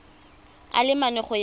a le mane go ya